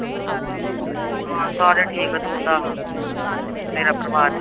ਹਾਂ ਸਾਰੇ ਠੀਕ ਆ ਤੂੰ ਦੱਸ ਤੇਰਾ ਪਰਿਵਾਰ